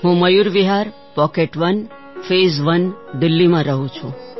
હું Mayur Vihar pocket one phase one દિલ્લીમાં રહું છું